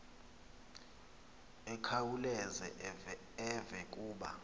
akhawuleze eve kuba